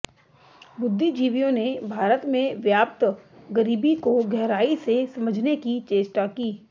बुद्धिजीवियों ने भारत में व्याप्त गरीबी को गहराई से समझने की चेष्टा की